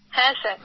হ্যাঁ স্যার